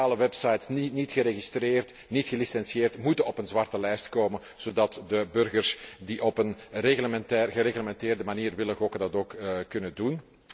Illegale websites, die niet geregistreerd, niet gelicentieerd zijn, moeten op een zwarte lijst komen, zodat de burgers die op een gereglementeerde manier willen gokken, dat ook kunnen doen.